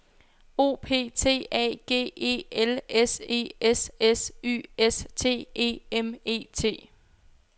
O P T A G E L S E S S Y S T E M E T